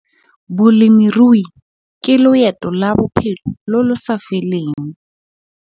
Bolemirui ke loeto la bophelo lo lo sa feleng!